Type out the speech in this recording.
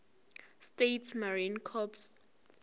states marine corps